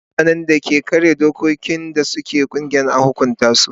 Mutanen da suka karya dokokin da ke mulkin kungiya an hukunta su.